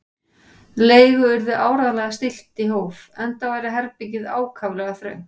Leigu yrði áreiðanlega stillt í hóf, enda væri herbergið ákaflega þröngt.